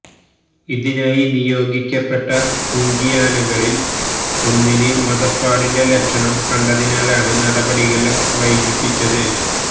ഇതിനായി നിയോഗിക്കപ്പെട്ട കുങ്കിയാനകളില് ഒന്നിന് മദ പ്പാടിന്റെ ലക്ഷണം കണ്ടതിനാലാണ് നടപടികള് വൈകിപ്പിച്ചത്